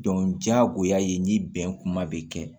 diyagoya ye ni bɛn kuma bɛ kɛ